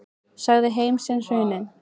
Sagði heim sinn hruninn.